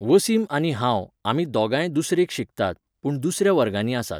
वसीमआनी हांव, आमी दोगांय दुसरेक शिकतात, पूण दुसऱ्या वर्गांनी आसात.